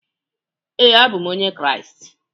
ee, abụ m onye Kraịst